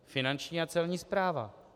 Finanční a Celní správa.